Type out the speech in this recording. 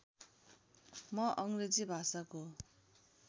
म अङ्ग्रेजी भाषाको